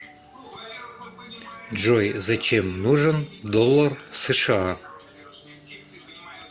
джой зачем нужен доллар сша